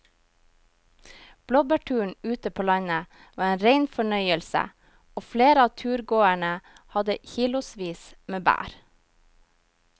Blåbærturen ute på landet var en rein fornøyelse og flere av turgåerene hadde kilosvis med bær.